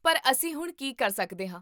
ਪਰ, ਅਸੀਂ ਹੁਣ ਕੀ ਕਰ ਸਕਦੇ ਹਾਂ?